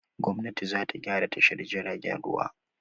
Gwamnati za ta gyra tashar jiagen ruwa.